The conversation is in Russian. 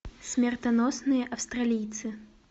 смертоносные австралийцы